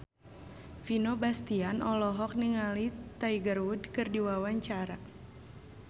Vino Bastian olohok ningali Tiger Wood keur diwawancara